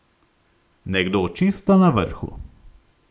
Nekdo čisto na vrhu.